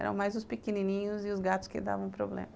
Eram mais os pequenininhos e os gatos que davam problemas.